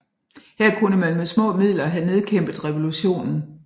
Her kunne man med små midler have nedkæmpet revolutionen